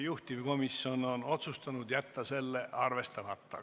Juhtivkomisjon on otsustanud jätta selle arvestamata.